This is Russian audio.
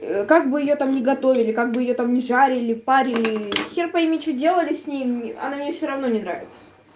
ээ как бы её там не готовили как бы её там не жарили парили и ээ хер пойми что делали с ней она мне все равно не нравится